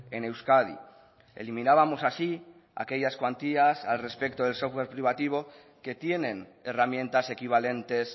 en euskadi eliminábamos así aquellas cuantías al respecto del software privativo que tienen herramientas equivalentes